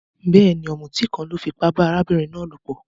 Béèni, òmùtí kan lo fipá ba arábìnrin náà lòpò